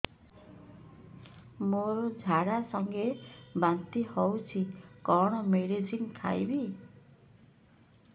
ମୋର ଝାଡା ସଂଗେ ବାନ୍ତି ହଉଚି କଣ ମେଡିସିନ ଖାଇବି